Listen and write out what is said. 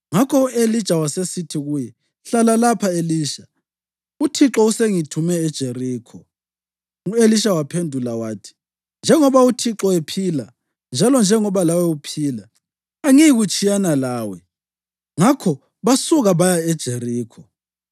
Ngakho u-Elija wasesithi kuye, “Hlala lapha, Elisha; uThixo usengithume eJerikho.” U-Elisha waphendula wathi: “Njengoba uThixo ephila njalo njengoba lawe uphila, angiyikutshiyana lawe.” Ngakho basuka baya eJerikho.